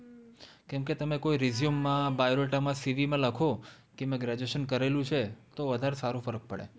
કેમકે, તમે કોઈ resume માં, biodata માં, CV માં લખો કે મેં graduation કરેલું છે. તો વધારે સારો ફરક પડે.